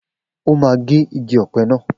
O máa gé igi ọ̀pẹ naa.